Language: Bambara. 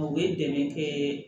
U ye dɛmɛ kɛ